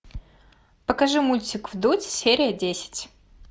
покажи мультик вдудь серия десять